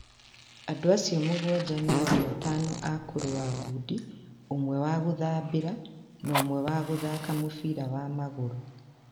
Andũ acio mũgwanja nĩ andũ atano a kũrũa ngundi, ũmwe wa gũthambĩra, na ũmwe wa gũthaaka mũbira wa magũrũ.